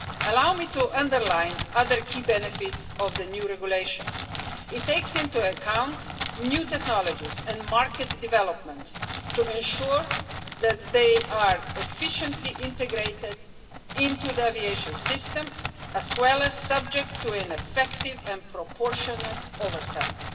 Allow me to underline other key benefits of the new regulation. It takes into account new technologies and market developments to ensure that they are efficiently integrated into the aviation system as well as subject to effective and proportionate oversights.